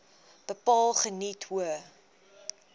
bepaal geniet hoë